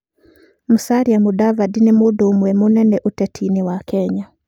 Musalia Mudavadi nĩ mũndũ ũmwe mũnene ũteti-inĩ wa Kenya.